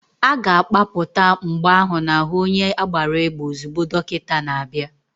A ga-akpapụta mgbọ ahụ n'ahu onye agbara égbè ozugbo dọkịta na-abịa.